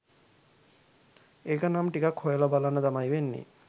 ඒකනම් ටිකක් හොයලා බලන්න තමයි වෙන්නේ